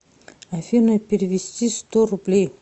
афина перевести сто рублей